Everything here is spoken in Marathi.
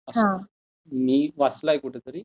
असं मी वाचलं आहे कुठंतरी